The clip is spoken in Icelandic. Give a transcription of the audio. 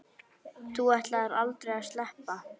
Þú ætlaðir aldrei að sleppa.